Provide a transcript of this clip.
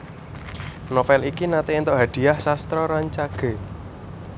Novel iki naté éntuk Hadhiah Sastra Rancage